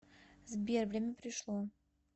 сбер время пришло